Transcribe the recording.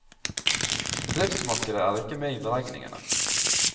Bedriftsmarkedet er ikke med i beregningene.